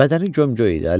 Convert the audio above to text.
Bədəni gömgöy idi.